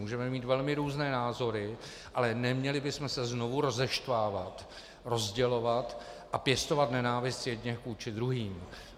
Můžeme mít velmi různé názory, ale neměli bychom se znovu rozeštvávat, rozdělovat a pěstovat nenávist jedněch vůči druhým.